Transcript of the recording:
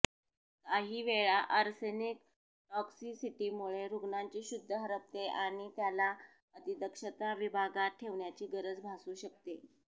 काही वेळा अर्सेनिक टॉक्झिसिटीमुळे रुग्णाची शुद्ध हरपते आणि त्याला अतिदक्षता विभागात ठेवण्याची गरज भासू शकते